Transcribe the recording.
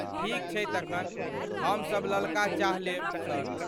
ठीक छैक तखन, हम सभ ललका चाह लेब, सर।